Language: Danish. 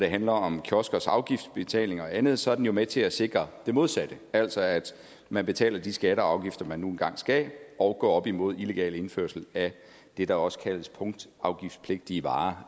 handler om kioskers afgiftsbetaling og andet så er den jo med til at sikre det modsatte altså at man betaler de skatter og afgifter man nu engang skal og går op imod illegal indførsel af det der også kaldes punktafgiftspligtige varer